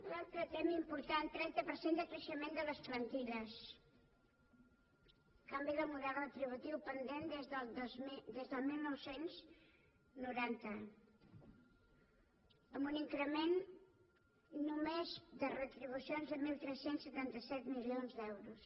l’altre tema important trenta per cent de creixement de les plantilles canvi del model retributiu pendent des del dinou noranta amb un increment només de retribucions de tretze setanta set milions d’euros